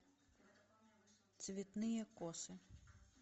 цветные косы